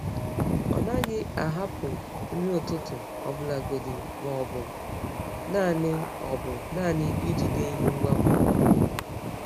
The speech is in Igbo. Ọ naghị ahapụ nri ụtụtụ, ọbụlagodi ma ọ bụ naanị ọ bụ naanị ijide ihe ngwa ngwa.